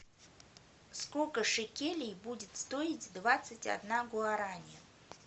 сколько шекелей будет стоить двадцать одна гуарани